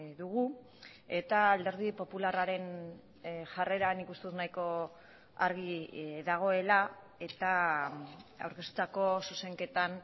dugu eta alderdi popularraren jarrera nik uste dut nahiko argi dagoela eta aurkeztutako zuzenketan